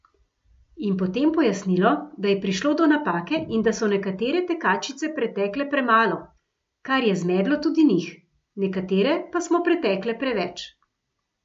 In potem pojasnilo, da je prišlo do napake in da so nekatere tekačice pretekle premalo, kar je zmedlo tudi njih, nekatere pa smo pretekle preveč.